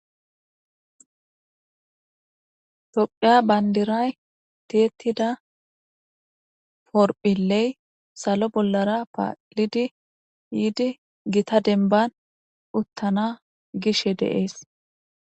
tophiya bayndiray tietida porphilley salo bollara paalidi yiidi gita denban uttana gishe deees